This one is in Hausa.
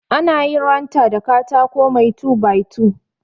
Anayin ranta da katako mai two by two.